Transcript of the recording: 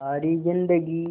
सारी जिंदगी